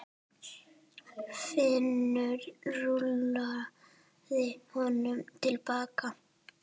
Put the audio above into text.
Finnur rúllaði honum til baka.